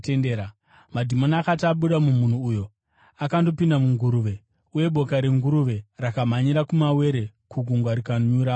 Madhimoni akati abuda mumunhu uyo akandopinda munguruve, uye boka renguruve rakamhanyira kumawere kugungwa rikanyuramo.